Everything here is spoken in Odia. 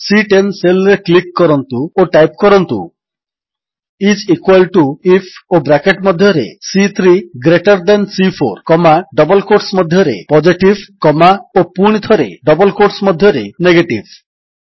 ସି10 ସେଲ୍ ରେ କ୍ଲିକ୍ କରନ୍ତୁ ଓ ଟାଇପ୍ କରନ୍ତୁ ଆଇଏସ ଇକ୍ୱାଲ୍ ଟିଓ ଆଇଏଫ୍ ଓ ବ୍ରାକେଟ୍ ମଧ୍ୟରେ C greater than C comma double quotes ମଧ୍ୟରେ ପୋଜିଟିଭ୍ କମା ଓ ପୁଣିଥରେ ଡବଲ୍ କ୍ୱୋଟ୍ସ ମଧ୍ୟରେ ନେଗେଟିଭ୍